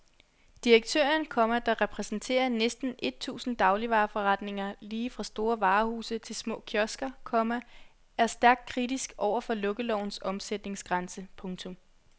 Direktøren, komma der repræsenterer næsten et tusind dagligvareforretninger lige fra store varehuse til små kiosker, komma er stærkt kritisk over for lukkelovens omsætningsgrænse. punktum